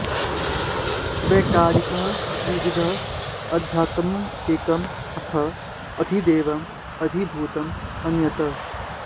वैकारिकः त्रिविधः अध्यात्मम् एकम् अथ अधिदैवम् अधिभूतम् अन्यत्